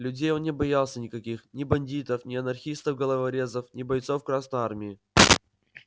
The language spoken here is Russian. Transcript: людей он не боялся никаких ни бандитов ни анархистов головорезов ни бойцов красной армии